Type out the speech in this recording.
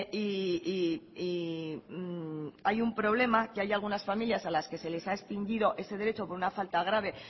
y hay un problema que hay algunas familias a las que se les ha extinguido ese derecho por una falta grave